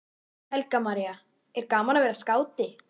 Helga María: Er gaman að vera skáti?